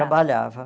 Trabalhava.